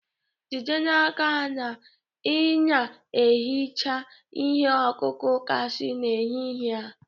Jide n'aka na ị na-ehicha ihe ọkụkụ gasi n'ehihie a!